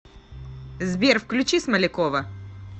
сбер включи смолякова